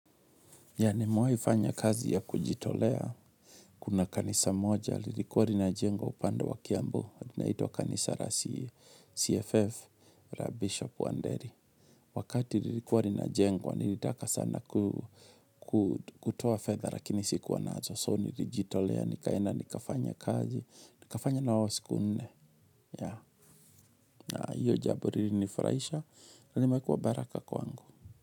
Yeah nimewahi fanya kazi ya kujitolea. Kuna kanisa moja, lilikuwa rinajengwa upande wa kiambu. Linaitwa kanisa la CFF, la Bishop Wanderi. Wakati lilikuwa rinajengwa, nilitaka sana kutoa fedha, lakini sikuwa nazo. So, nilijitolea, nikaenda, nikafanya kazi, nikafanya nao siku nne. Yeah, na hiyo jambo lilinifurahisha. Limekuwa baraka kwangu.